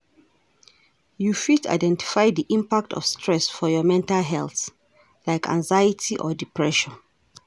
You fit identify di impact of stress for your mental health, like anxiety or depression.